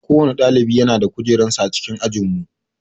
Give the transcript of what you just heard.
Kowanne ɗalibi yana da kujerar sa a cikin ajinmu